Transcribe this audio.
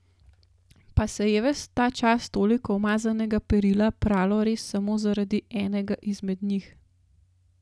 Pa se je ves ta čas toliko umazanega perila pralo res samo zaradi enega izmed njih?